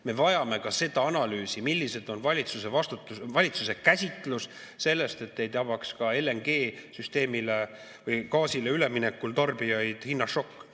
Me vajame analüüsi, milline on valitsuse käsitus sellest, et ei tabaks ka LNG‑le üleminekul tarbijaid hinnašokk.